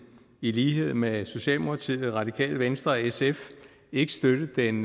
i lighed med socialdemokratiet det radikale venstre og sf ikke støtte den